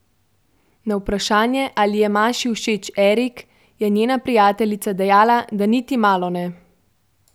Na vprašanje, ali je Maši všeč Erik, je njena prijateljica dejala, da niti malo ne.